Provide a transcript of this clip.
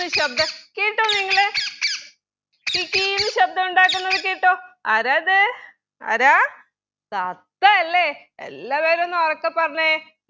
ശബ്‌ദം കേട്ടോ നിങ്ങള് കി കി കീന്ന് ശബ്‌ദം ഉണ്ടാകുന്നത് കേട്ടോ ആരാ അത് ആരാ തത്തയല്ലെ എല്ലാവരും ഒന്നുറക്കെ പറഞ്ഞെ